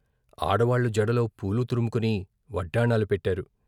ఆడవాళ్ళు జడలో పూలు తురుముకొని వడ్డాణాలు పెట్టారు.